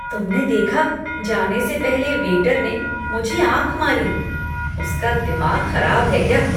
तुमने देखा? जाने से पहले वेटर ने मुझे आँख मारी। उसका दिमाग खराब है क्या?